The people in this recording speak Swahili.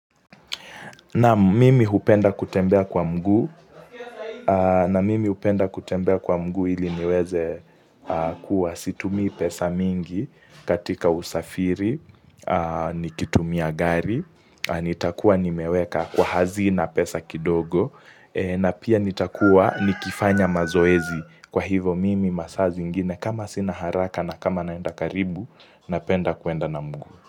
Naam mimi hupenda kutembea kwa mguu na mimi hupenda kutembea kwa mguu ili niweze kuwa situmi pesa mingi katika usafiri, nikitumia gari, nitakuwa nimeweka kwa hazina pesa kidogo, na pia nitakuwa nikifanya mazoezi kwa hivo mimi masaa zingine kama sina haraka na kama naenda karibu, napenda kuenda na mguu.